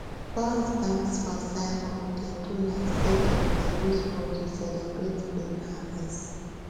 boys dance for circle dey do like say dem dey use hoe to celebrate bean harvest